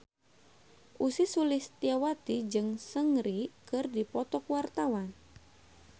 Ussy Sulistyawati jeung Seungri keur dipoto ku wartawan